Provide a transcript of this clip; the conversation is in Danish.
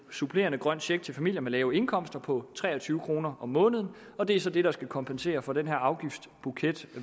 supplerende grøn check til familier med lave indkomster på tre og tyve kroner om måneden og det er så det der skal kompensere for den her afgiftsbuket